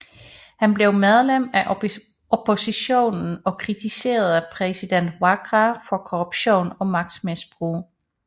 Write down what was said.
Han blev medlem af oppositionen og kritiserede præsident Waqa for korruption og magtmisbrug